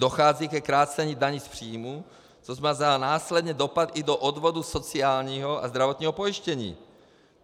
Dochází ke krácení daní z příjmů, což má následně dopad i do odvodu sociálního a zdravotního pojištění.